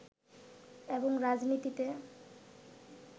এবং রাজনীতিতে